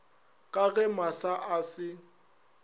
ka ge masa a se